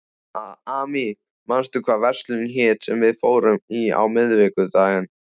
Amy, manstu hvað verslunin hét sem við fórum í á miðvikudaginn?